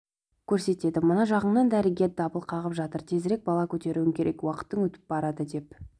көрсетеді мына жағыңнан дәрігерің дабыл қағып жатыр тезірек бала көтеруің керек уақытың өтіп барады деп